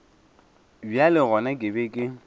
bjale gona ke be ke